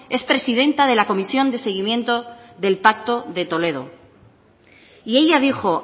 es presidenta de la comisión de seguimiento del pacto de toledo y ella dijo